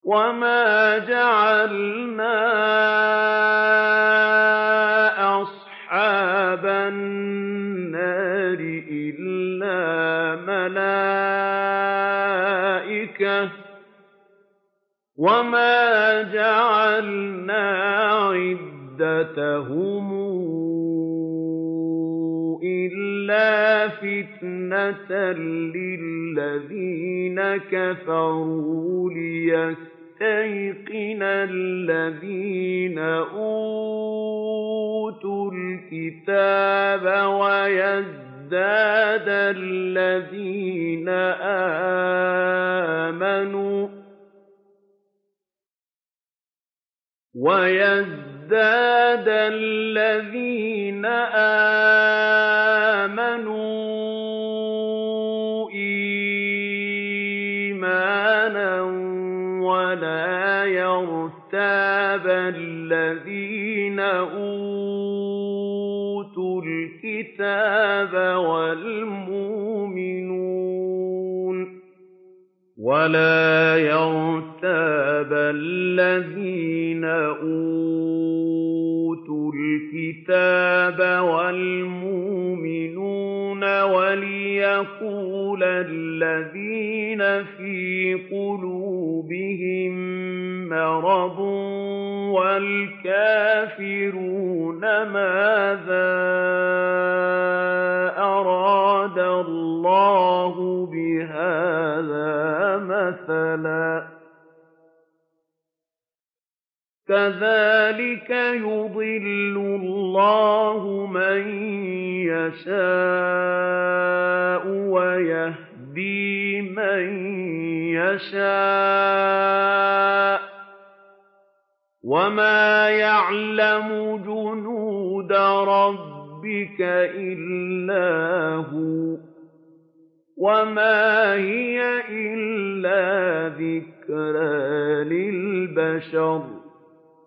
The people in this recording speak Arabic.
وَمَا جَعَلْنَا أَصْحَابَ النَّارِ إِلَّا مَلَائِكَةً ۙ وَمَا جَعَلْنَا عِدَّتَهُمْ إِلَّا فِتْنَةً لِّلَّذِينَ كَفَرُوا لِيَسْتَيْقِنَ الَّذِينَ أُوتُوا الْكِتَابَ وَيَزْدَادَ الَّذِينَ آمَنُوا إِيمَانًا ۙ وَلَا يَرْتَابَ الَّذِينَ أُوتُوا الْكِتَابَ وَالْمُؤْمِنُونَ ۙ وَلِيَقُولَ الَّذِينَ فِي قُلُوبِهِم مَّرَضٌ وَالْكَافِرُونَ مَاذَا أَرَادَ اللَّهُ بِهَٰذَا مَثَلًا ۚ كَذَٰلِكَ يُضِلُّ اللَّهُ مَن يَشَاءُ وَيَهْدِي مَن يَشَاءُ ۚ وَمَا يَعْلَمُ جُنُودَ رَبِّكَ إِلَّا هُوَ ۚ وَمَا هِيَ إِلَّا ذِكْرَىٰ لِلْبَشَرِ